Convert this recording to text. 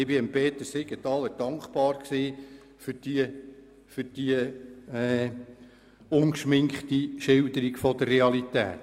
Ich bin Grossrat Peter Siegenthaler für seine ungeschminkte Darstellung dankbar.